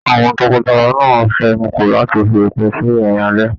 Àwọn tọkọtaya náà fẹnuko láti fi òpin sí ìrìn alẹ́.